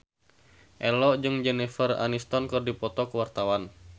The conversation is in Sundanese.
Ello jeung Jennifer Aniston keur dipoto ku wartawan